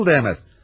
Nəsil dəyməz?